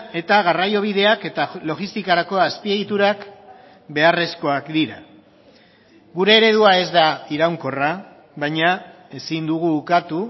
eta garraiobideak eta logistikarako azpiegiturak beharrezkoak dira gure eredua ez da iraunkorra baina ezin dugu ukatu